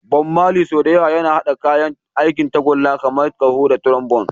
Bob Marley, sau da yawa yana haɗa kayan aikin tagulla kamar ƙaho da trombone.